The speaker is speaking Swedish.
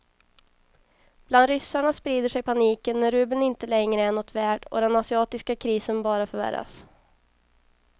Bland ryssarna sprider sig paniken när rubeln inte längre är något värd och den asiatiska krisen bara förvärras.